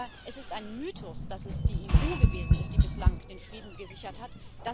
Aber es ist ein Mythos, dass es die EU gewesen ist, die bislang den Frieden gesichert hat.